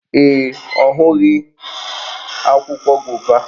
Ee, ọ hụghị akwụkwọ gova